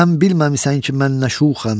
Sən bilməmisən ki, mən nə şuxəm?